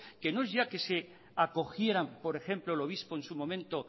que no es ya que se acogieran por ejemplo el obispo en su momento